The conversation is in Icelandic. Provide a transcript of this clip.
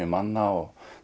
manna og